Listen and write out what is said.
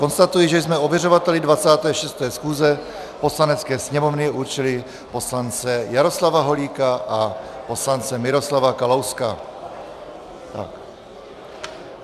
Konstatuji, že jsme ověřovateli 26. schůze Poslanecké sněmovny určili poslance Jaroslava Holíka a poslance Miroslava Kalouska.